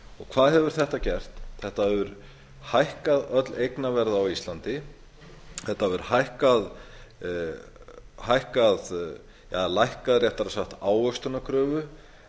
hvað hefur þetta gert þetta hefur hækkað öll eignaverð á íslandi þetta hefur hækkað eða lækkað réttara sagt ávöxtunarkröfu